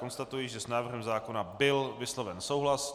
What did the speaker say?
Konstatuji, že s návrhem zákona byl vysloven souhlas.